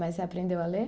Mas você aprendeu a ler?